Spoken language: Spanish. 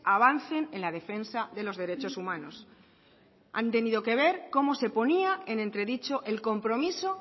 avancen en la defensa de los derechos humanos han tenido que ver cómo se ponía en entredicho el compromiso